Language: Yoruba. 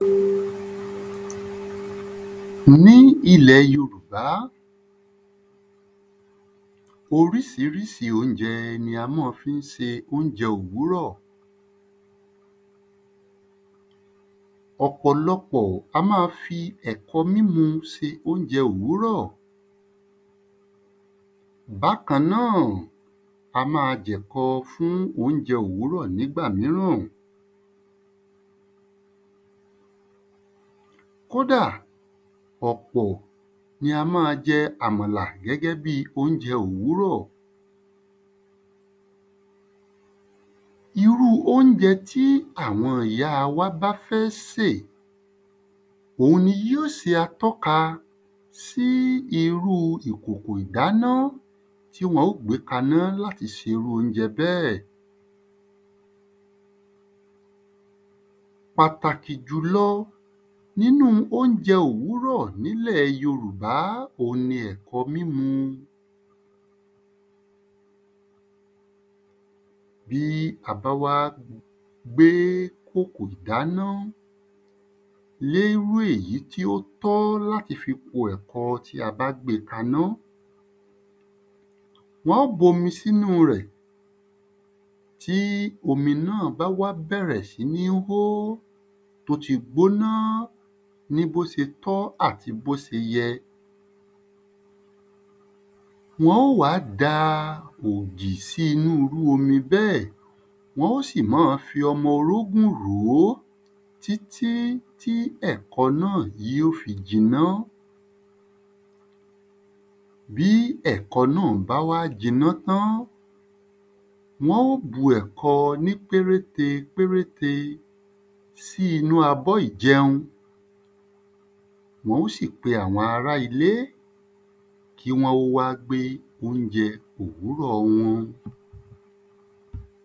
Ní ilẹ̀ yorùbá Orísirísi óunjẹ ní a mọ́ fí ń se óunjẹ òwúrò ọ̀pọ̀lọpọ̀ á má fi ẹ̀kọ mímu se óunjẹ òwúrò bákan náà á má jẹ̀kọ fún óunjẹ òwúrò nígbà míràn kódà ọ̀pọ̀ ni a má a jẹ àmàlà ní óunjẹ òwúrò irúu óunjẹ tí àwọn ìya wa bá fẹ́ sè òun ni yí ó se atọ́ka sí irúu ìkòkò ìdáná tí wọ́n ó gbé kaná láti ṣe irú óunjẹ bẹ́ẹ̀ pàtàkì jùlọ nínú óunjẹ òwúrò nílẹ̀ yorùbá òun ni ẹ̀kọ mímu bí a bá wá gbé kòkò dáná lé írú èyí tí ó tọ́ láti fi po ẹ̀kọ tí a bá gbe kaná wọ́n ó bomi sínú rẹ̀ tí omi náà báwá bẹ̀rẹ̀ síní hó ó ti gbóná ní bó se tọ́ àti bó se yẹ wọ́n ó wá da ògì sí irú omi bẹ́ẹ̀ wọ́n ó sì mọ́ ọ fi ọmọ orógùn ròó tí tí tí ẹ̀kọ náà yí ó fi jiná bí ẹ̀kọ náà ba wá jiná tán wọ́n ó bu ẹ̀kọ ní péréte péréte sí inú abó ìjẹun wọ́n ó sì pe àwọn ara ilé kí wọ́n ó wá gbé óunjẹ òwúrò wọn